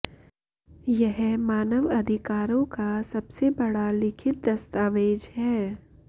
यह मानव अधिकारों का सबसे बड़ा लिखित दस्तावेज है